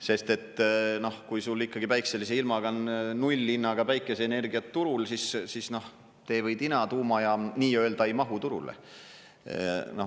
Sest kui sul päikselise ilmaga on nullhinnaga päikeseenergia turul, siis tee või tina, tuumajaam nii-öelda ei mahu turule.